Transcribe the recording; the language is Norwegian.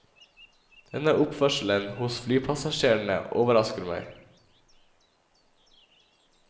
Denne oppførselen hos flypassasjerene overrasker meg.